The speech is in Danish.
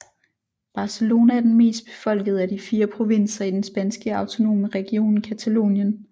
Barcelona er den mest befolkede af de fire provinser i den spanske autonome region Catalonien